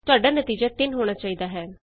ਤੁਹਾਡਾ ਨਤੀਜਾ 3 ਹੋਣਾ ਚਾਹੀਦਾ ਹੈ